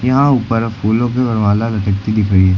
यहां ऊपर फूलों की वरमाला लटकती दिख रही है।